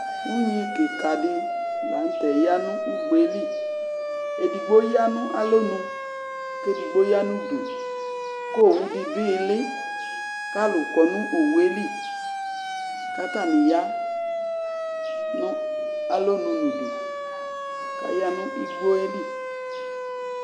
Unyi kɩka dɩ, la nʋ tɛ ya nʋ ugbe yɛ li Edigbo ya nʋ alonu kʋ edigbo ya nʋ udu, kʋ owu dɩ dʋ ɩɣɩlɩ, kʋ alʋ kɔ nʋ owu yɛ li, kʋ atanɩ ya nʋ alonu nʋ udu kʋ aya nʋ igbo yɛ li